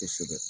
Kosɛbɛ